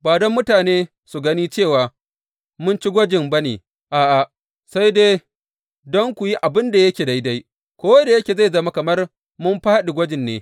Ba don mutane su gani cewa mun ci gwajin ba ne, a’a, sai dai don ku yi abin da yake daidai, ko da yake zai zama kamar mun fāɗi gwajin ne.